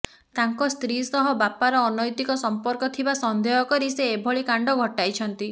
ତାଙ୍କ ସ୍ତ୍ରୀ ସହ ବାପାର ଅନୈତିକ ସମ୍ପର୍କ ଥିବା ସନ୍ଦେହ କରି ସେ ଏଭଳି କାଣ୍ଡ ଘଟାଇଛନ୍ତି